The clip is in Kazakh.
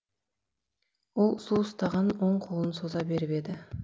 ол су ұстаған оң қолын соза беріп еді